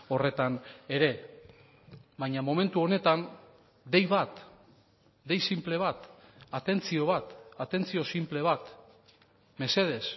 horretan ere baina momentu honetan dei bat dei sinple bat atentzio bat atentzio sinple bat mesedez